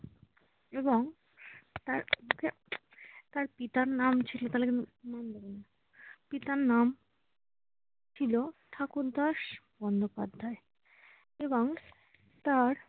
এবং তার পিতা~ তার পিতার নাম ছিল~ পিতার নাম ছিল ঠাকুরদাস বন্দোপাধ্যায় এবং তার